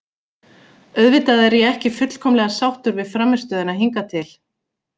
Auðvitað er ég ekki fullkomlega sáttur við frammistöðuna hingað til.